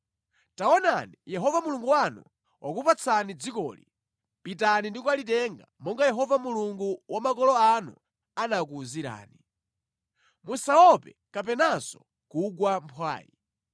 Taonani, Yehova Mulungu wanu wakupatsani dzikoli. Pitani ndi kulitenga monga Yehova, Mulungu wa makolo anu anakuwuzirani. Musaope kapenanso kugwa mphwayi.”